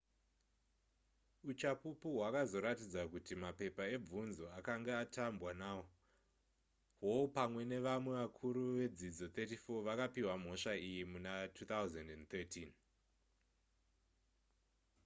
uchapupu hwakazoratidza kuti mapepa ebvunzo akange atambwa nawo hall pamwe nevamwe vakuru vedzidzo 34 vakapihwa mhosva iyi muna2013